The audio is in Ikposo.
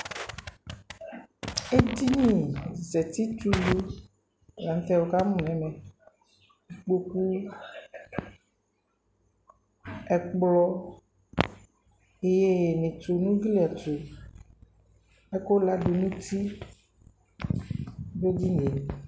Ɛdini za uti tɛ ulu la nu tɛ wukamu nu ɛmɛ kpokpu ɛkplɔ iyeyui netu nu ugli ɛtu ɛku ladu nu uti nu edini yɛ